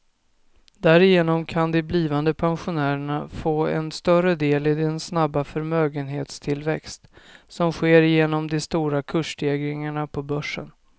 Därigenom kan de blivande pensionärerna få en större del i den snabba förmögenhetstillväxt som sker genom de stora kursstegringarna på börsen.